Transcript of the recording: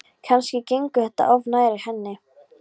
Kannski gengur þetta of nærri henni.